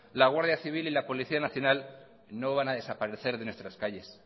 la guardia civil y la policía nacional no van a desaparecer de nuestras calles